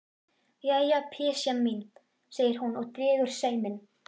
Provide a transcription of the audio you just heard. Jæja, pysjan mín, segir hún og dregur seiminn.